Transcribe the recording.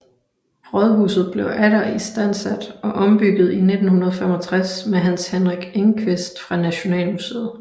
Rådhuset blev atter istandsat og ombygget i 1965 med Hans Henrik Engqvist fra Nationalmuseet